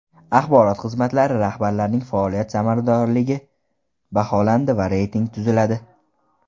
Axborot xizmatlari rahbarlarining faoliyat samaradorligi baholanadi va reyting tuziladi.